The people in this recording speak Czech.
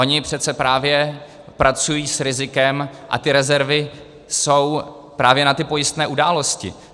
Ony přece právě pracují s rizikem a ty rezervy jsou právě na ty pojistné události.